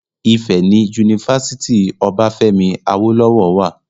Ìfẹ́ ni Unifásítì Obáfẹ́mi Awólọ́wọ̀ wà